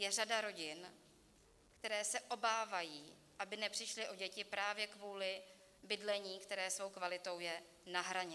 Je řada rodin, které se obávají, aby nepřišly o děti právě kvůli bydlení, které svou kvalitou je na hraně.